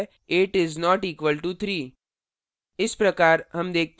8 is not equal to 3